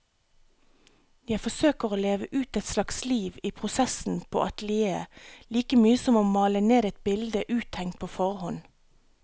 Jeg forsøker å leve ut et slags liv i prosessen på atelieret, like mye som å male ned et bilde uttenkt på forhånd.